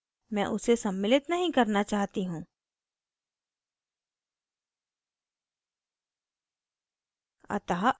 मैं उसे सम्मिलित नहीं करना चाहती हूँ